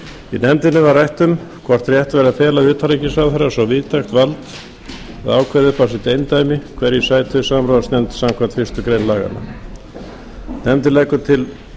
í nefndinni var rætt um hvort rétt væri að fela utanríkisráðherra svo víðtækt vald að ákveða upp á sitt eindæmi hverjir sætu í samráðsnefnd samkvæmt fyrstu grein laganna nefndin leggur til